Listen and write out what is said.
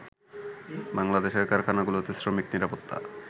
বাংলাদেশের কারখানাগুলোতে শ্রমিক নিরাপত্তা